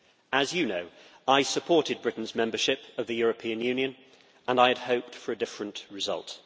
As you know, I supported Britain's membership of the European Union and I had hoped for a different result.